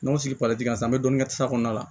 N'o sigira kan sisan an bɛ dɔɔnin kɛ safɔn kɔnɔna na